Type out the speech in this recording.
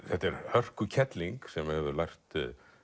þetta er hörkukerling sem hefur lært